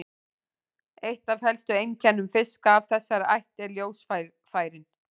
Eitt af helstu einkennum fiska af þessari ætt eru ljósfærin.